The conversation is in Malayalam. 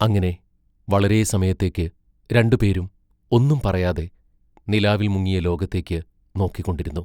അങ്ങനെ വളരെ സമയത്തേക്ക് രണ്ടുപേരും ഒന്നും പറയാതെ, നിലാവിൽ മുങ്ങിയ ലോകത്തേക്ക് നോക്കിക്കൊണ്ടിരുന്നു.